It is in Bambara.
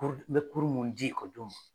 me mun ekɔlidenw ma